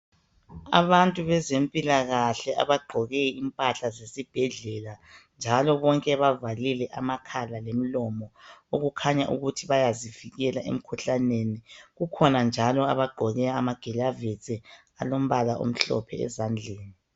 Abantu bezempilakahle abagqoke impahla zesibhedlela njalo bonke bavalile amakhala lomlomo okukhanya ukuthi bayazivikela emkhuhlaneni kukhona njalo abagqoke amagilavusi alombala omhlophe ezandleni.